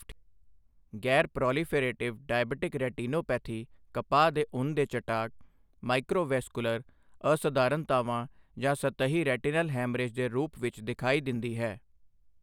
ਗੈਰ proliferative diabetic retinopathy ਕਪਾਹ ਦੇ ਉੱਨ ਦੇ ਚਟਾਕ, ਮਾਈਕ੍ਰੋਵੈਸਕੁਲਰ ਅਸਧਾਰਨਤਾਵਾਂ ਜਾਂ ਸਤਹੀ ਰੈਟਿਨਲ ਹੈਮਰੇਜ ਦੇ ਰੂਪ ਵਿੱਚ ਦਿਖਾਈ ਦਿੰਦੀ ਹੈ।